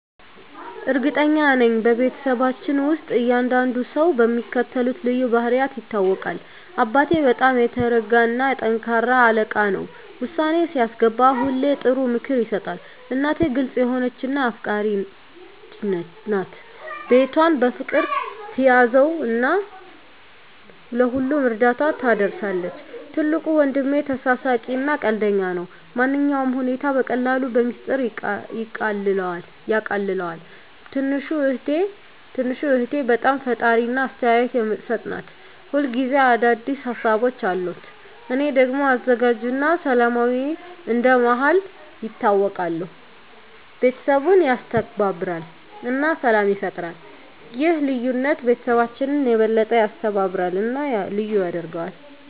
እርግጠኛ ነኝ፤ በቤተሰባችን ውስጥ እያንዳንዱ ሰው በሚከተሉት ልዩ ባህሪያት ይታወቃል - አባቴ በጣም የተረጋ እና ጠንካራ አለቃ ነው። ውሳኔ ሲያስገባ ሁሌ ጥሩ ምክር ይሰጣል። እናቴ ግልጽ የሆነች እና አፍቃሪች ናት። ቤቷን በፍቅር ትያዘው እና ለሁሉም እርዳታ ትደርሳለች። ትልቁ ወንድሜ ተሳሳቂ እና ቀልደኛ ነው። ማንኛውንም ሁኔታ በቀላሉ በሚስጥር ያቃልለዋል። ትንሹ እህቴ በጣም ፈጣሪ እና አስተያየት የምትሰጥ ናት። ሁል ጊዜ አዲስ ሀሳቦች አሉት። እኔ ደግሞ አዘጋጅ እና ሰላማዊ እንደ መሃከል ይታወቃለሁ። ቤተሰቡን ያስተባብራል እና ሰላም ይፈጥራል። ይህ ልዩነት ቤተሰባችንን የበለጠ ያስተባብራል እና ልዩ ያደርገዋል።